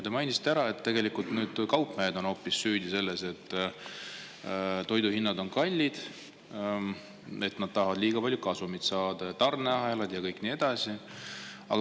Te mainisite, et tegelikult on hoopis kaupmehed süüdi selles, et toidu hinnad on kallid: nad tahavad liiga palju kasumit saada ja on tarneahelad ja nii edasi.